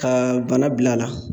Ka bana bila a la